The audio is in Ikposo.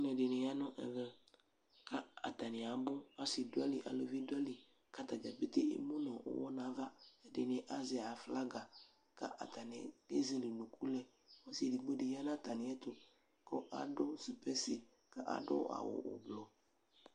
Alʋɛdɩnɩ ya nʋ ɛvɛ kʋ atanɩ abʋ, asɩ dʋ ayili, aluvi dʋ ayili kʋ ata dza pete emu nʋ ʋɣɔ nʋ ava Ɛdɩnɩ azɛ aflaga kʋ atanɩ ezele unuku lɛ Ɔsɩ edigbo dɩ ya nʋ atamɩɛtʋ kʋ adʋ sɩpɛsɩ kʋ adʋ awʋ ʋblʋ